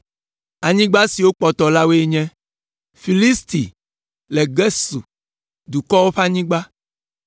“Anyigba siwo kpɔtɔ la woe nye: “Filisti kple Gesur dukɔwo ƒe anyigba